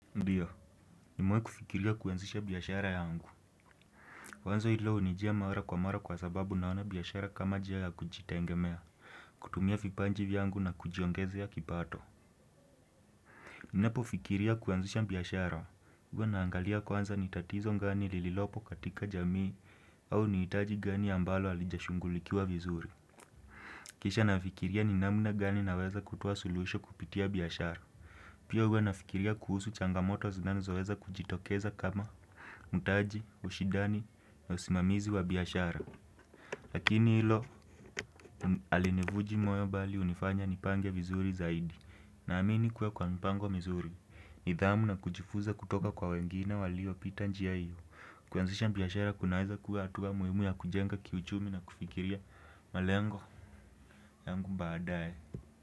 Ndiyo, nimewahi kufikiria kuanzisha biashara yangu. Wazo hilo hunijia mara kwa mara kwa sababu naona biashara kama njia ya kujitegemea, kutumia vipaji vyangu na kujiongezea kipato. Ninapofikiria kuanzisha biashara. Huwa naangalia kwanza ni tatizo gani lililopo katika jamii au ni hitaji gani ambalo alijashugulikiwa vizuri. Kisha nafikiria ni namna gani naweza kutuwa suluhisho kupitia biashara. Pia huwa nafikiria kuhusu changamoto zinazoweza kujitokeza kama mtaji, ushindani na usimamizi wa biqshara. Lakini hilo alinivunji moyo bali hunifanya nipange vizuri zaidi. Naamini kuwa kwa mpango vizuri, nidhamu na kujifunza kutoka kwa wengine waliopita njia hiyo. Kuanzisha biashara kunaweza kuwa hatua muhimu ya kujenga kiuchumi na kufikiria malengo yangu baadaye.